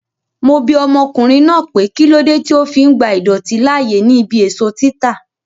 Mo bi ọmọkùnrin náà pé kílódé tí ó fi ń gba idọ̀tí láàyè ní ibí èso títa